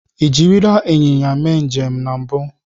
Ị jirila ịnyịnya mee njem na mbụ?